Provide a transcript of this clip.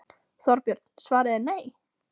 Þorbjörn: Svarið er nei?